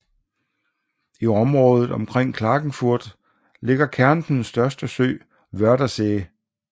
I området omkring Klagenfurt ligger Kärntens største sø Wörthersee